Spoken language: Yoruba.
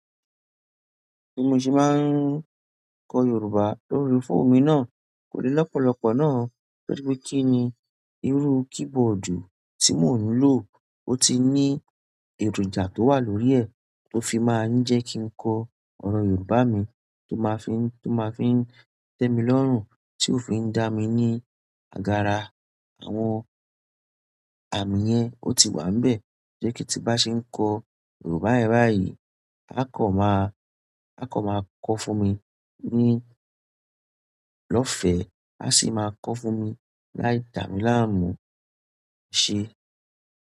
Bí mo ṣe máa ń kọ Yorùbá lórí fóòmù náà kò le lọ́pọ̀lọ́pọ̀ náà, torí pé kí ni irú keyboard tí mò ń lò ó ti ní èròjà tó wà lórí ẹ̀ tó fi máa ń jẹ́ kí n kọ ọ̀rọ̀ Yorùbá mi tó máa fi ń, tó máa fi ń tẹ́ mi lọ́rùn, tí ó fi ń dá mi ní àgàrà àwọn àmì yẹn ó ti wà níbẹ̀. Jẹ́ kí ti bá ṣe ń kọ Yorùbá ẹ́ rá yìí, a kọ máa, a kọ máa kọ fún mi ní ìlọ́fẹ́, a sì máa kọ fún mi láì dà mí láàmú ṣe.